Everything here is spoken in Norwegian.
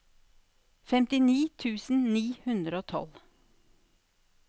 femtini tusen ni hundre og tolv